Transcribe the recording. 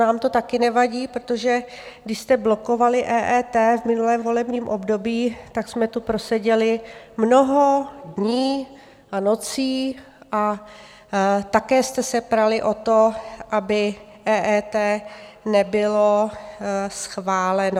Nám to také nevadí, protože když jste blokovali EET v minulém volebním období, tak jsme tu proseděli mnoho dní a nocí a také jste se prali o to, aby EET nebylo schváleno.